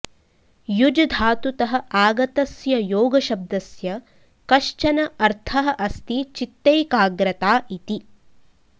युज् धातुतः आगतस्य योगशब्दस्य कश्चन अर्थः अस्ति चित्तैकाग्रता इति